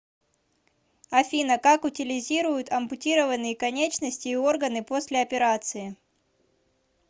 афина как утилизируют ампутированные конечности и органы после операции